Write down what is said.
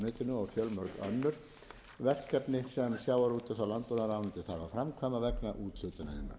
og fjölmörg önnur verkefni sem sjávarútvegs og landbúaðarráuentyioð þarf að framkvæma vegna úthlutunarinnar þá er með